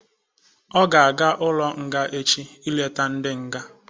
Ọ ga-aga ụlọ nga echi ilete ndị nga.